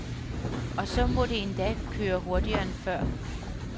Og så må det endda køre hurtigere end før.